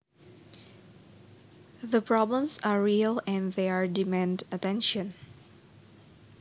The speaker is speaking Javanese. The problems are real and and they demand attention